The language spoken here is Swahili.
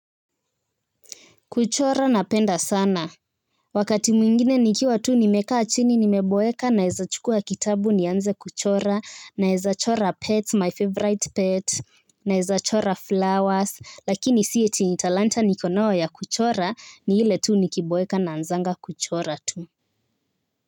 Kuchora napenda sana. Wakati mwingine nikiwa tuu nimekaa chini nimeboeka naeza chukua kitabu nianze kuchora naeza chora pet my favorite pet naeza chora flowers lakini siye tinitalanta nikonoa ya kuchora ni hile tuu nikiboeka nanzanga kuchora tuu.